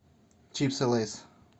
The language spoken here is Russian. чипсы лейс